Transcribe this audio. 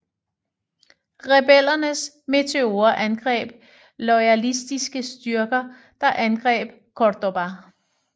Rebellernes Meteorer angreb loyalistiske styrker der angreb Córdoba